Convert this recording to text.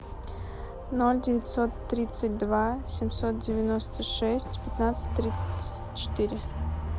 ноль девятьсот тридцать два семьсот девяносто шесть пятнадцать тридцать четыре